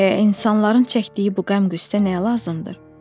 Eh, insanların çəkdiyi bu qəm-qüssə nəyə lazımdır?